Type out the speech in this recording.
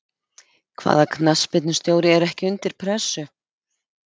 Hvaða knattspyrnustjóri er ekki undir pressu?